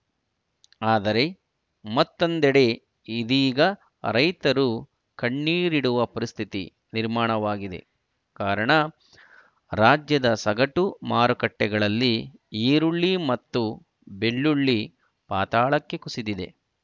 ಆದರೆ ಮತ್ತೊಂದೆಡೆ ಇದೀಗ ರೈತರು ಕಣ್ಣಿರಿಡುವ ಪರಿಸ್ಥಿತಿ ನಿರ್ಮಾಣವಾಗಿದೆ ಕಾರಣ ರಾಜ್ಯದ ಸಗಟು ಮಾರುಕಟ್ಟೆಗಳಲ್ಲಿ ಈರುಳ್ಳಿ ಮತ್ತು ಬೆಳ್ಳುಳ್ಳಿ ಪಾತಾಳಕ್ಕೆ ಕುಸಿದಿದೆ